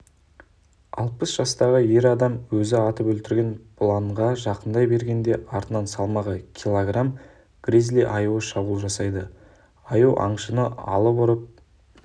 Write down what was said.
алпыс жастағы ер адам өзі атып өлтірген бұланға жақындай бергенде артынан салмағы килограмм гризли аю шабуыл жасайды аю аңшыны алып ұрып